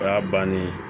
O y'a bannen ye